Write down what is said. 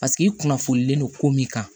Paseke i kunnafonilen no ko min kan